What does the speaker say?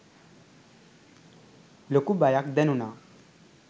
ලොකු බයක් දැනුනා.